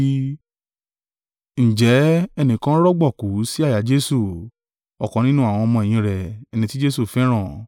Ǹjẹ́ ẹnìkan rọ̀gbọ̀kú sí àyà Jesu, ọ̀kan nínú àwọn ọmọ-ẹ̀yìn rẹ̀, ẹni tí Jesu fẹ́ràn.